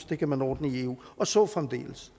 det kan man ordne i eu og så fremdeles